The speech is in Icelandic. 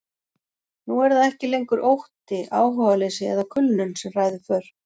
Nú er það ekki lengur ótti, áhugaleysi eða kulnun sem ræður för.